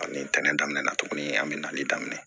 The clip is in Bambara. Ani tɛntɛnni daminɛna tuguni an bɛ nali daminɛ